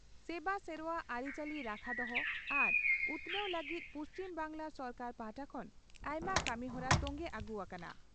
ᱥᱮᱵᱟ ᱥᱮᱨᱚᱣᱟ ᱟᱹᱨᱤᱪᱟᱹᱞᱤ ᱨᱟᱠᱷᱟ ᱫᱚᱦᱚ ᱟᱨ ᱩᱛᱷᱱᱟᱹᱣ ᱞᱟᱹᱜᱤᱫ ᱯᱩᱪᱷᱤᱢ ᱵᱟᱝᱜᱽᱞᱟ ᱥᱚᱨᱠᱟᱨ ᱯᱟᱦᱴᱟ ᱠᱷᱚᱱ ᱟᱭᱢᱟ ᱠᱟᱹᱢᱤᱦᱚᱨᱟ ᱛᱚᱝᱜᱮ ᱟᱹᱜᱩ ᱟᱠᱟᱱᱟ ᱾